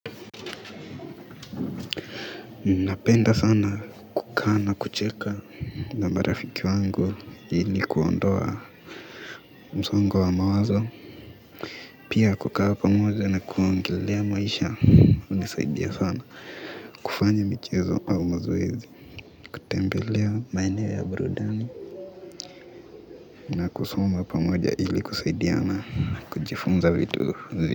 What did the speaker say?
Napenda sana kukaa na kucheka na marafiki wangu ili kuondoa msongo wa mawazo pia kukaa pamoja na kuongelelea maisha unisaidia sana kufanya michezo au mazoezi, kutembelea maeneo ya burudani na kusoma pamoja ili kusaidiana na kujifunza vitu zi.